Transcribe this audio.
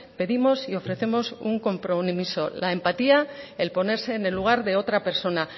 pedimos y ofrecemos un compromiso la empatía el ponerse en el lugar de otra persona